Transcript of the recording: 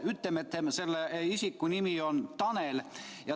Ütleme, et selle isiku nimi on Tanel.